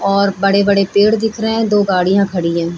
और बड़े-बड़े पेड़ दिख रहे हैं और दो गाड़ियाँ खड़ी हैं।